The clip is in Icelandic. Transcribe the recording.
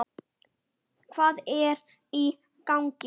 Hvað er í gangi!